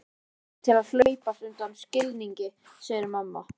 Mér hættir til að hlaupast undan skilningi, segir mamma.